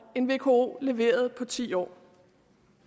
end vko leverede på ti år